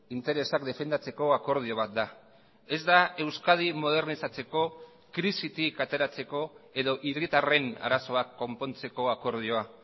interesak defendatzeko akordio bat da ez da euskadi modernizatzeko krisitik ateratzeko edo hiritarren arazoak konpontzeko akordioa